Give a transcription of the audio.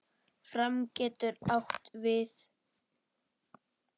Fram getur átt við